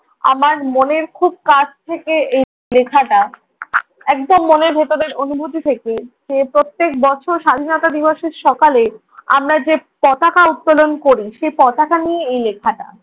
আমার মনের খুব কাছ থেকে এই লেখাটা একদম মনের ভেতরের অনুভূতি থেকে সে প্রত্যেক বছর স্বাধীনতা দিবসের সকালে আমরা যে পতাকা উত্তোলন করি সে পতাকা নিয়ে এই লেখাটা।